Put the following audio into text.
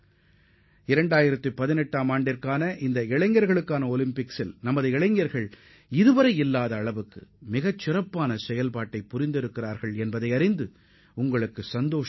2018 இளையோர் கோடைகால ஒலிம்பிக்கில் நமது இளைஞர்களின் செயல்பாடு இதுவரை கண்டிராத அளவிற்கு சிறப்பானதாக இருந்ததை நீங்கள் அறிவீர்கள்